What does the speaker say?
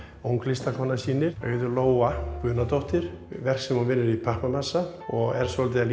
ung listakona sýnir Auður Lóa Guðnadóttir verk sem hún vinnur í pappamassa og er svolítið að